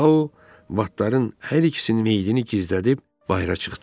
Tao vatların hər ikisinin meyidini gizlədib bayıra çıxdı.